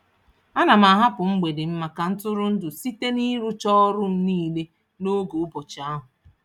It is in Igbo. Ana m ahapụ mgbede m maka ntụrụndụ site n'ịrụcha ọrụ m niile n'oge ụbọchị ahụ.